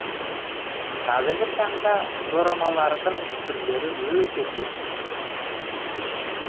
қазіргі таңда дорамалардың түрлері өте көп